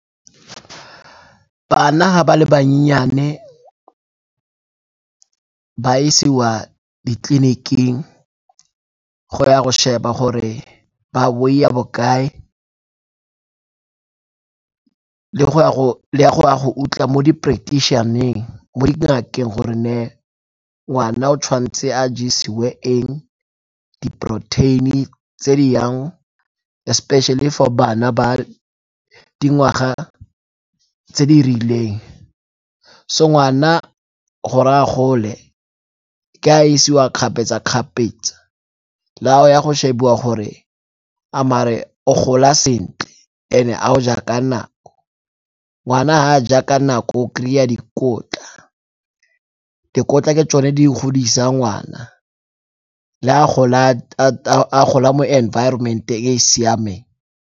Bana ga ba le banyani ba isiwa ditleliniking go ya go sheba gore ba weight-a bokae le go ya go utlwa mo di-practition-eng mo di gore ne ngwana o tshwanetse a jesiwe eng, di-protein-e tse di yang especially for bana ba dingwaga tse di rileng. So ngwana gore a gole ke ha a isiwa kgapetsa-kgapetsa le ha o ya go shebiwa gore a mare o gola sentle, and-e a o ja ka nako. Ngwana ha a ja ka nako o kry-a dikotla, dikotla ke tsone di godisa ngwana le a gola mo environment e e siameng.